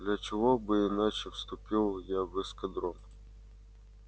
для чего бы иначе вступил я в эскадрон